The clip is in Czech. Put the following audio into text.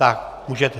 Tak, můžete.